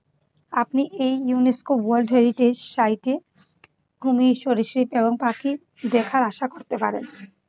আপনি এই UNESCO world heritage সাইটে কুমির সরীসৃপ এবং পাখি দেখার আশা করতে পারেন।